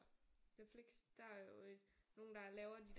Flix der er jo øh nogle der laver de der